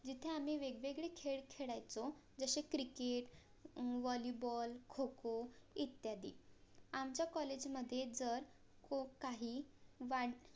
जेथे आम्ही वेगवेगळे खेळ खेळायचो जसे CRICKET, VOLLYBALL खोखो इत्यादी आमच्या college मधे जर खूप काही वा